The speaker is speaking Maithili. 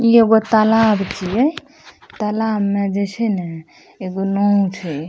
ई एगो तलाब छिये तलाब में जेई छै नै एगो नाव छै ।